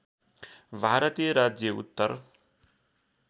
भारतीय राज्य उत्तर